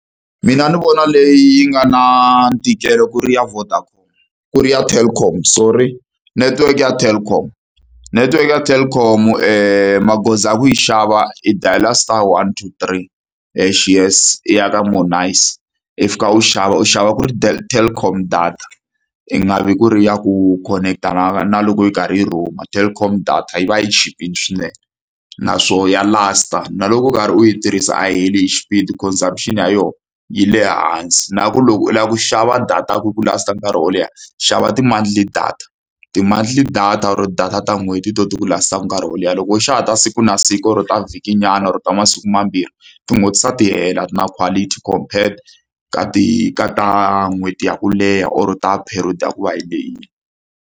Mina ndzi vona leyi yi nga na ntikelo ku ri ya Vodacom, ku ri ya Telkom, sorry. Netiweke ya Telkom. Netiweke ya Telkom magoza ya ku yi xava i dayila star one two three hash yes, i ya ka more nice, i fika u xava, u xava ku ri Telkom data. Ku nga vi ku ri ya ku khonekitana na na loko yi karhi yi roam-a, Telkom data yi va yi chipile swinene, naswona ya last-a. Na loko u karhi u yi tirhisa a yi heli hi xipidi consumption ya yona yi le hansi. Na ku loko u lava ku xava data ya ku ku last-a nkarhi wo leha, xava ti-monthly data. Ti-monthly data or data ta n'hweti hi tona ti ku last-aka nkarhi wo leha, loko wo xava ta siku na siku or ta vhikinyana, or ta masiku mambirhi, ti nghotlisa ti hela. A ti na quality compered ka ti ka ta n'hweti ya ku leha or ta period ya ku va yi lehile.